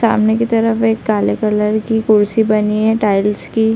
सामने की तरफ एक काले कलर की कुर्सी बनी है टाइल्स की --